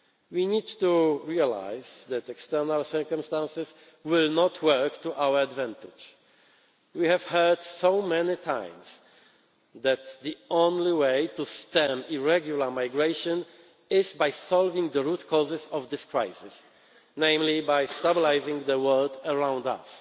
to be. We need to realise that external circumstances will not work to our advantage. We have heard so many times that the only way to stem irregular migration is by solving the root causes of this crisis, namely by stabilising the world around